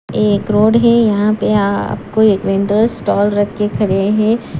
ये एक रोड है यहां पे आपको एक वेंडर्स स्टॉल रखे खड़े हैं।